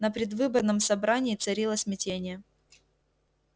на предвыборном собрании царило смятение